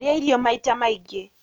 Rĩa irio maita maingĩ